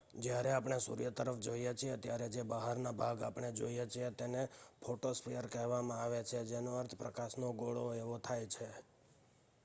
"જ્યારે આપણે સૂર્ય તરફ જોઈએ છીએ ત્યારે જે બહારનો ભાગ આપણે જોઈએ છીએ તેને ફોટોસ્ફીયર કહેવામાં આવે છે જેનો અર્થ "પ્રકાશનો ગોળો" એવો થાય છે.